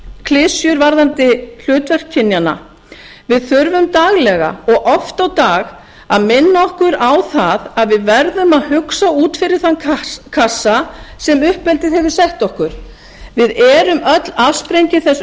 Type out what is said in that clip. klisjur varðandi hlutverk kynjanna við þurfum daglega og oft á dag að minna okkur á það að við verðum að hugsa út fyrir þann kassa sem uppeldið hefur sett okkur við erum öll afsprengi þess